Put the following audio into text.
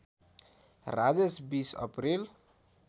Rajesh २० April